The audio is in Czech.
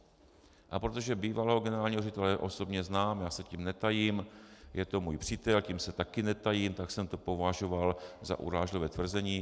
A protože bývalého generálního ředitele osobně znám, já se tím netajím, je to můj přítel, tím se taky netajím, tak jsem to považoval za urážlivé tvrzení.